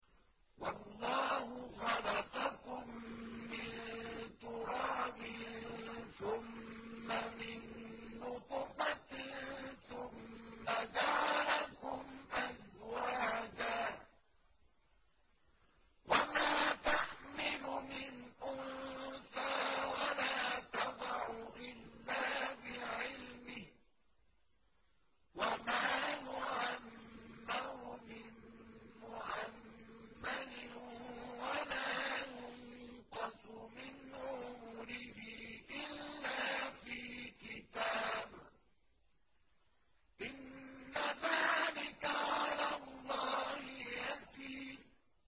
وَاللَّهُ خَلَقَكُم مِّن تُرَابٍ ثُمَّ مِن نُّطْفَةٍ ثُمَّ جَعَلَكُمْ أَزْوَاجًا ۚ وَمَا تَحْمِلُ مِنْ أُنثَىٰ وَلَا تَضَعُ إِلَّا بِعِلْمِهِ ۚ وَمَا يُعَمَّرُ مِن مُّعَمَّرٍ وَلَا يُنقَصُ مِنْ عُمُرِهِ إِلَّا فِي كِتَابٍ ۚ إِنَّ ذَٰلِكَ عَلَى اللَّهِ يَسِيرٌ